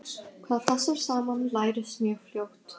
Hvað passar saman lærist mjög fljótt.